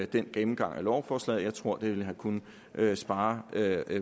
den gennemgang af lovforslaget jeg tror det ville kunne have sparet